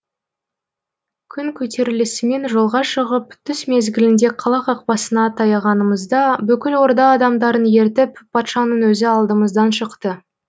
күн көтерілісімен жолға шығып түс мезгілінде қала қақпасына таяғанымызда бүкіл орда адамдарын ертіп патшаның өзі алдымыздан шықты